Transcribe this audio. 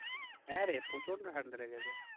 হ্যাঁরে প্রচন্ড ঠান্ডা লেগেছে